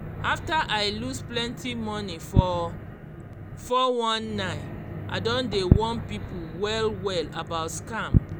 after i lose plenty money for 419 i don dey warn people well well about scam